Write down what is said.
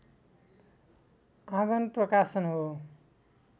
आँगन प्रकाशन हो